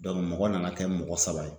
Dɔnku mɔgɔ nana kɛ mɔgɔ saba ye